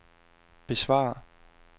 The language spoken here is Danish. besvar